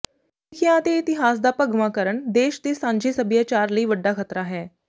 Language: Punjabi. ਸਿੱਖਿਆ ਅਤੇ ਇਤਿਹਾਸ ਦਾ ਭਗਵਾਂਕਰਨ ਦੇਸ਼ ਦੇ ਸਾਂਝੇ ਸੱਭਿਆਚਾਰ ਲਈ ਵੱਡਾ ਖ਼ਤਰਾ ਹੈ